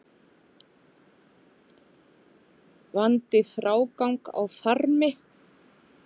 Vandi frágang á farmi